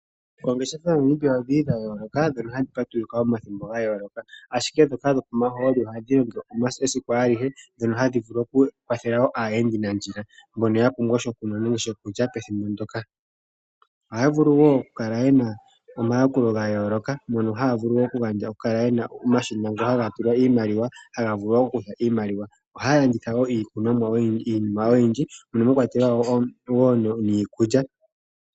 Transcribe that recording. Oongeshefa moNamibia odhili dhayooloka ndhono hadhi patulula omathimbo gayooloka, ashike ndhoka dhopomahooli ohadhi longo esiku alihe ndhono hadhi vulu okukwathela wo aayendi nandjila, mbono yapumbwa shokunwa noshokulya pethimbo ndyoka. Ohaya vulu wo okukala yena omayakulo gayooloka, mono haya vulu okukala yena omashina ngo haga tulwa iimaliwa haga vulu okuza iimaliwa. Ohaya landitha wo iinima oyindji mono mwakwatelwa wo niikulya.